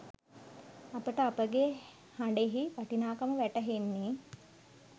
අපට අපගේ හඬෙහි වටිනාකම වැටහෙන්නේ